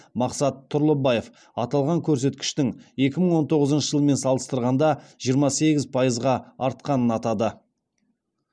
мақсат тұрлыбаев аталған көрсеткіштің екі мың он тоғызыншы жылмен салыстырғанда жиырма сегіз пайызға артқанын атады